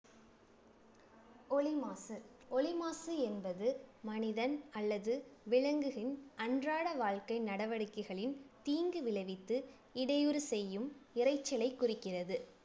ஒலி மாசு ஒலி மாசு என்பது மனிதன் அல்லது விலங்குகளின் அன்றாட வாழ்க்கை நடவடிக்கைகளின் தீங்கு விளைவித்து இடையூறு செய்யும் இரைச்சலை குறிக்கிறது